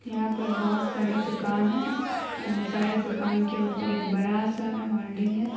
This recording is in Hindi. यहाँ पर बहुत सारे दुकान है और इन सारे दुकान के ऊपर एक बड़ा सा होल्डिंग है।